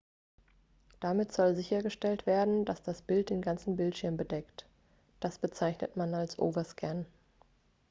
damit soll sichergestellt werden dass das bild den ganzen bildschirm bedeckt das bezeichnet man als overscan